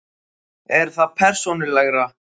Er það persónulegra?